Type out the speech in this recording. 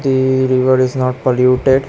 The river is not polluted.